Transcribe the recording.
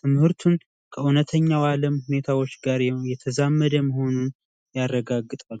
ትምህርቱን ከእውነተኛ ዓለም እውነታዎች ጋር እያዛመዱ መሆኑን የሚያረጋግጥ ነው።